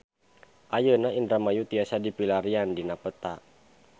Ayeuna Indramayu tiasa dipilarian dina peta